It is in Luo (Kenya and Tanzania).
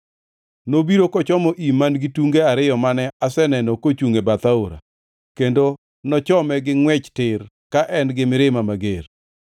Nobiro kochomo im man-gi tunge ariyo mane aseneno kochungʼ e bath aora, kendo nochome gi ngʼwech tir ka en gi mirima mager.